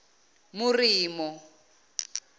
moremo